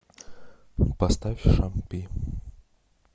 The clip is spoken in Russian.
поставь шам пи